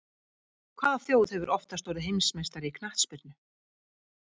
Hvaða þjóð hefur oftast orðið heimsmeistari í knattspyrnu?